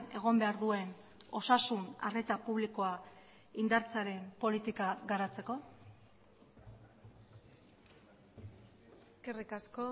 egon behar duen osasun arreta publikoa indartzearen politika garatzeko eskerrik asko